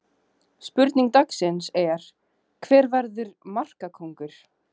Spurning dagsins er: Hver verður markakóngur?